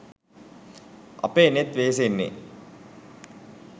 අපේ නෙත් වෙහෙසෙන්නේ